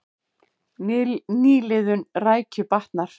Nýliðun rækju batnar